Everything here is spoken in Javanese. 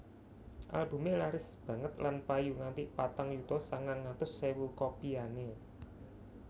Albumé laris banget lan payu nganti patang yuta sangang atus ewu copyané